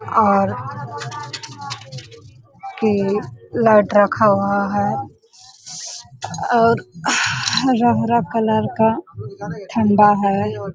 और के लाइट रखा हुआ है और हरा -हरा कलर का ठंडा है ।